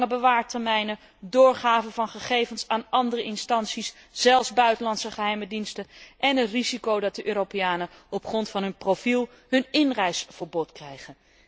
Lange bewaartermijnen, doorgifte van gegevens aan andere instanties, zelfs buitenlandse geheime diensten, en het risico dat Europeanen op grond van hun profiel een inreisverbod krijgen.